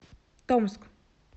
томск